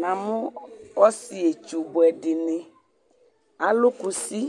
Namu ɔsietsu buɛ dini, alu kusɩ